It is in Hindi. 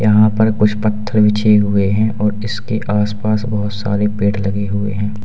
यहां पर कुछ पत्थर बिछे हुए हैं और इसके आस पास बहोत सारे पेड़ लगे हुए हैं।